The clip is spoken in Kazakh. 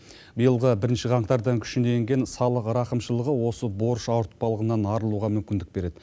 биылғы бірінші қаңтардан күшіне енген салық рақымшылығы осы борыш ауыртпалығынан арылуға мүмкіндік береді